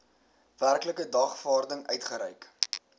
werklike dagvaarding uitgereik